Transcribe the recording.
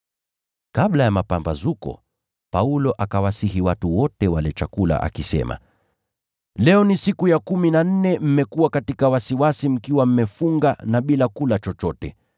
Kabla ya mapambazuko, Paulo akawasihi watu wote wale chakula akisema, “Leo ni siku ya kumi na nne mmekuwa katika wasiwasi mkiwa mmefunga na bila kula chochote.